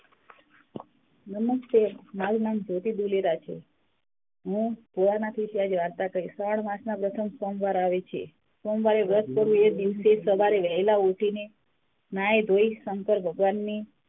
નમસ્તે મારુ નામે જ્યોતિ ધુલેરા છે હું માંથી વાર્તા કઈસ શ્રાવણ માસમાં વસંત સોમવાર આવે છે સોમવારે વ્રત કરું છું એ દિવસ સવારે વહેલા ઉઠીને નાઈ ધોઈ શંકર ભગવાન ની